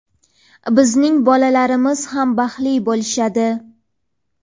bizning bolalarimiz ham baxtli bo‘lishadi.